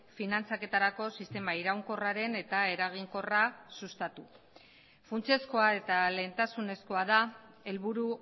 finantzaketarako sistema iraunkorraren eta eraginkorra sustatu funtsezkoa eta lehentasunezkoa da helburu